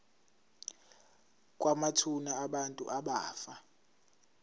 kwamathuna abantu abafa